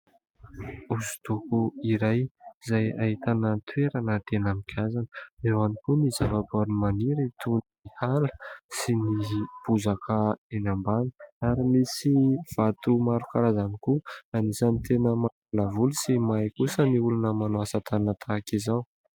Hosodoko iray izay ahitana ny toerana tena migazana ; eo ihany koa ny zava-poary maniry toa ny ala sy ny bozaka eny ambany, ary misy vato maro karazany koa. Anisany tena mampiala-voly sy mahay kosa ny olona manao asan-tanana tahaka izao.